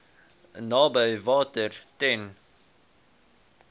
naby water ten